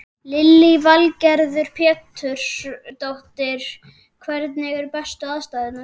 Lillý Valgerður Pétursdóttir: Hvernig eru bestu aðstæðurnar?